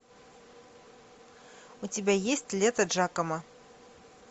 у тебя есть лето джакомо